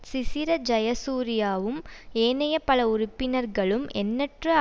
சிசிர ஜயசூரியவும் ஏனைய பல உறுப்பினர்களும் எண்ணற்ற